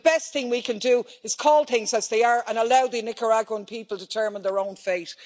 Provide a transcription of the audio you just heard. The best thing we can do is call things as they are and allow the Nicaraguan people to determine their own fate.